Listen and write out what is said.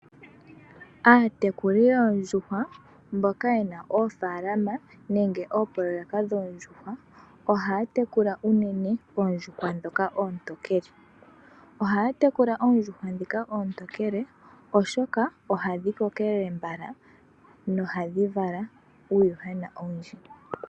Aatekuli yoondjuhwa mboka yena oofalama nenge mboka yena oopoloweka dhoondjuhwa ohaatekula unene oondjuhwa ndhoka oontokele, oshoka ohadhi kokelele mbala nohadhivala uuyuhwena owundji.